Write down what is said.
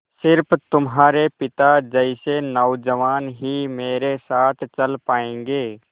स़िर्फ तुम्हारे पिता जैसे नौजवान ही मेरे साथ चल पायेंगे